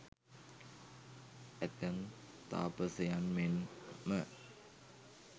ඇතැම් තාපසයන් මෙන් ම